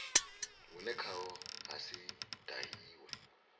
vhune khaho ha si dahiwe